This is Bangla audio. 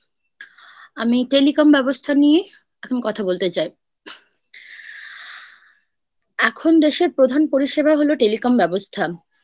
আমি Telecom ব্যবস্থা নিয়ে এখন কথা বলতে চাই ।এখন দেশের প্রধান পরিষেবা হল Telecom ব্যবস্থা।